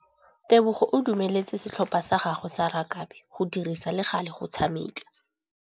Tebogô o dumeletse setlhopha sa gagwe sa rakabi go dirisa le galê go tshameka.